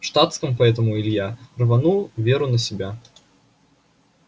в штатском поэтому илья рванул веру на себя